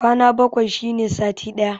Kwana bakwai shine sati ɗaya